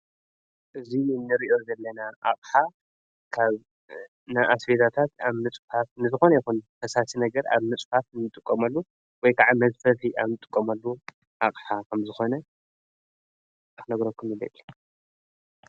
እዙይ ንርዮ ጌለናን ኣቕሓ ካብ ንኣስቤታታት ኣብ ምጽፋፍ ንዝኾነ ይኹን ኽሳሲ ነገር ኣብ ምጽፋት እምጥቖመሉ ወይ ከዓ መዘፈፍ ኣም ጥቆመሉ ኣቕሓ ኸም ዝኾነ ኣነ ክነግረኩምኒለለ።